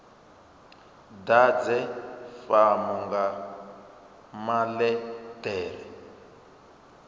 ḓadze fomo nga maḽe ḓere